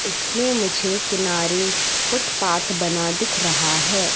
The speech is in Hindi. इसमें मुझे किनारे फुटपाथ बना दिख रहा है।